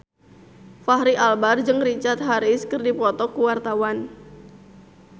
Fachri Albar jeung Richard Harris keur dipoto ku wartawan